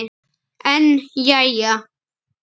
En jæja.